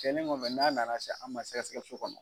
Cɛnni kɔfɛ n'a nana se an ma sɛgɛsɛgɛli so kɔnɔ.